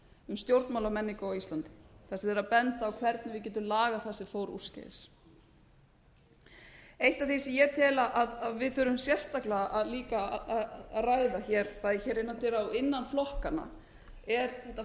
um stjórnmálamenningu á íslandi þar sem þeir eru að benda á hvernig við getum lagað það sem fór úrskeiðis eitt af því sem ég tel að við þurfum sérstaklega líka að ræða bæði innan dyra og innan flokkanna er þetta